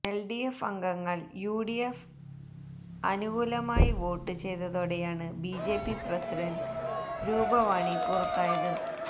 LDF അംഗങ്ങൾ യുഡിഎഫിന് അനുകൂലമായി വോട്ട് ചെയ്തതോടെയാണ് ബിജെപി പ്രസിഡന്റ് രൂപവാണി പുറത്തായത്